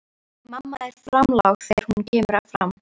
Mamma er framlág þegar hún kemur fram.